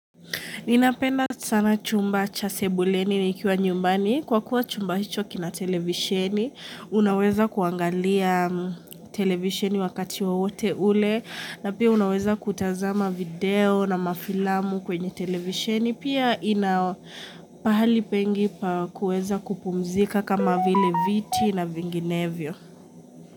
Ninapenda sana chumba cha sebuleni nikiwa nyumbani, kwa kuwa chumba hicho kina televisheni, unaweza kuangalia televisheni wakati wa wote ule, na pia unaweza kutazama video na mafilamu kwenye televisheni, pia inapahali pengi pa kuweza kupumzika kama vile viti na vinginevyo.